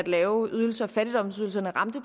lave ydelser fattigdomsydelserne